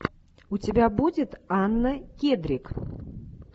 у тебя будет анна кедрик